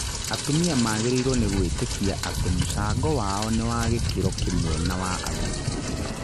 Atumia magĩrĩirwo nĩ gũĩtĩkia atĩ mũcango wao nĩ wa gĩkĩro kĩmwe na wa athuri.